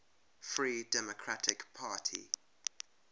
free democratic party